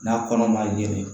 N'a kɔnɔ ma ɲinɛ